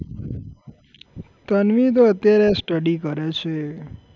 તન્વી તો અત્યારે study કરે છે.